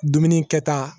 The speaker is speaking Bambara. Dumuni kɛta